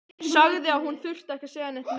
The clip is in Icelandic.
Sagði að hún þyrfti ekki að segja neitt meira.